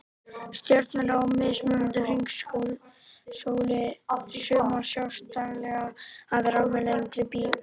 Stjörnurnar á mismunandi hringsóli, sumar sjást daglega, aðrar með lengri bilum